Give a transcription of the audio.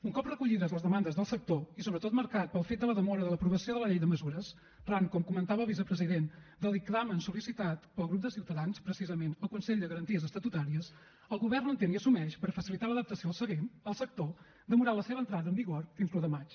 un cop recollides les demandes del sector i sobretot marcat pel fet de la demora de l’aprovació de la llei de mesures arran com comentava el vicepresident del dictamen sol·licitat pel grup de ciutadans precisament al consell de garanties estatutàries el govern entén i assumeix per facilitar l’adaptació al sector demorar la seva entrada en vigor fins a l’un de maig